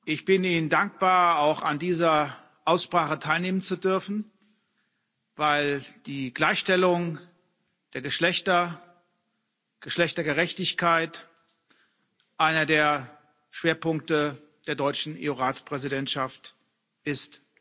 Ich bin Ihnen dankbar, auch an dieser Aussprache teilnehmen zu dürfen, weil die Gleichstellung der Geschlechter, Geschlechtergerechtigkeit einer der Schwerpunkte der deutschen EU Ratspräsidentschaft ist.